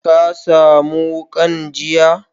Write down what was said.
Ka samu wukan jiya?